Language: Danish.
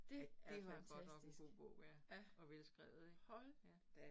Det fandme godt nok en god bog ja, og velskrevet ik, ja